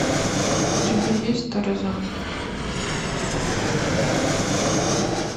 у тебя есть тарзан